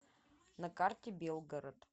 на карте белгород